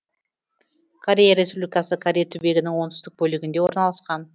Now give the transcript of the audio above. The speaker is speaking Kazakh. корея республикасы корей түбегінің оңтүстік бөлігінде орналасқан